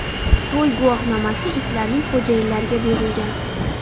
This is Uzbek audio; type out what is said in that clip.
To‘y guvohnomasi itlarning xo‘jayinlariga berilgan.